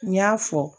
N y'a fɔ